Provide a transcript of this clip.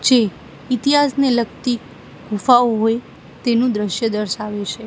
ચી ઇતિહાસને લગતી ગુફાઓ હોય તેનુ દ્રશ્ય દર્શાવે છે.